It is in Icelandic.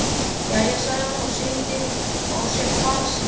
Jæja, sagði hún og sýndi á sér fararsnið.